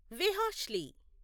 వెహాష్లీ